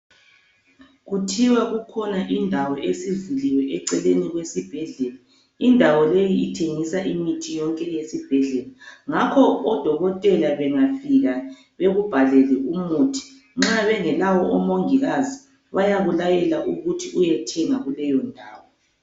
Kuthiwa kukhona indawo esivuliwe eceleni kwesibhedlela ,indawo leyi ethengiswa imithi yonke yesibhedlela. Ngakho odokotela bengafika bakubhalele umuthi, nxa bengelawo omongikazi bayakulayela ukuthi uyethenga kuleyo ndawo.